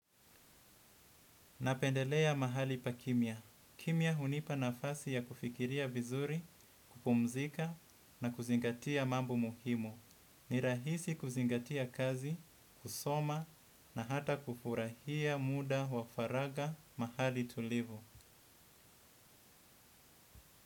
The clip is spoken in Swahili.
Napendelea mahali pa kimya. Kimya hunipa nafasi ya kufikiria vizuri, kupumzika na kuzingatia mambo muhimu. Ni rahisi kuzingatia kazi, kusoma na hata kufurahia muda wa faraga mahali tulivu.